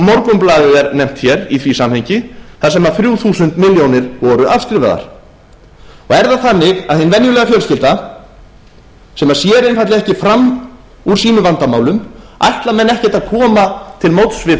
morgunblaðið er nefnt hér í því samhengi þar sem þrjú þúsund milljónir voru afskrifaðar er það þannig að hin venjulega fjölskylda sem sér einfaldlega ekki fram úr sínum vandamálum ætla menn ekkert að koma til móts við